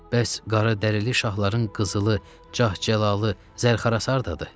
Bəs qaradərili şahların qızılı, Cah-Cəlalı, zərxərarı da?